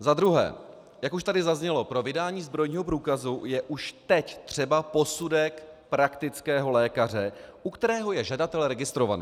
Za druhé, jak už tady zaznělo, pro vydání zbrojního průkazu je už teď třeba posudek praktického lékaře, u kterého je žadatel registrovaný.